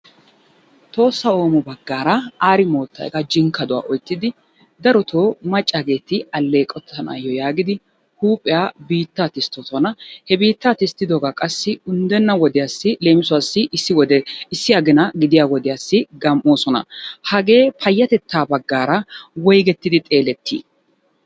Tohossa Oomo baggaara Aari moottay hegaa jinkkaduwa oyttidi darotoo maccaageeti alleqottanaayyo yaagidi huuphiya biittaa tisttoosona. He biittaa tistiddoogaa qassi unddenna wodiyassi leemisuwassi issi agina gidiya wodiyassi gam"oosona. Hagee payyatettaa baggaara woygettidi xeelettii?